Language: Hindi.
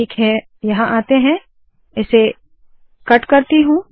ठीक है मैं यहाँ आती हूँ इसे कट करती हूँ